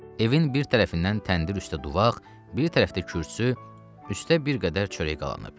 Evin bir tərəfindən təndir üstə duvaq, bir tərəfdə kürsü, üstə bir qədər çörək qalanıb.